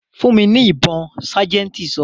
"Fún mi ní ibon' sájẹ̀ntì sọ.